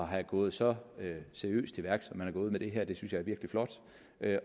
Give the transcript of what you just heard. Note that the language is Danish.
have gået så seriøst til værks som man er gået med det her det synes jeg er virkelig flot